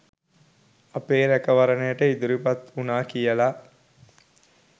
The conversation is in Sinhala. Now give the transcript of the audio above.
අපේ රැකවරණයට ඉදිරිපත් වුනා කියලා